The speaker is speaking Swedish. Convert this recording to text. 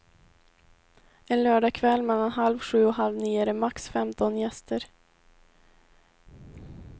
En lördag kväll mellan halv sju och halv nio är det max femton gäster.